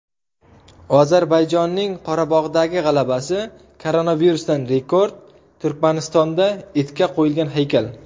Ozarbayjonning Qorabog‘dagi g‘alabasi, koronavirusdan rekord, Turkmanistonda itga qo‘yilgan haykal.